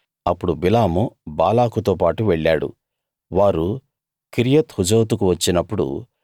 అప్పుడు బిలాము బాలాకుతో పాటు వెళ్ళాడు వారు కిర్యత్‌ హుజోతుకు వచ్చినప్పుడు